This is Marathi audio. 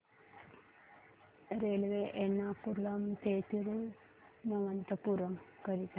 रेल्वे एर्नाकुलम ते थिरुवनंतपुरम करीता